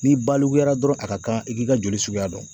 Ni balikuya dɔrɔn, a ka kan i k'i ka joli suguya dɔn.